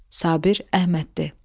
Sabir Əhməddir.